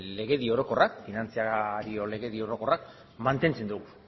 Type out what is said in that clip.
legedi orokorrak finantza legedi orokorrak mantentzen du